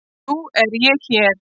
Nú er ég hér.